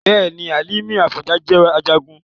Bẹ́ẹ̀ni, Hálímì Àfọ̀njá jẹ́ Ajagun